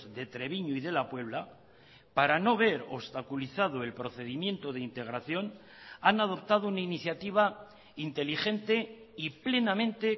de treviño y de la puebla para no ver obstaculizado el procedimiento de integración han adoptado una iniciativa inteligente y plenamente